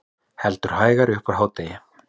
Heldur hægari upp úr hádegi